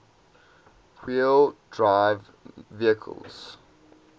wheel drive vehicles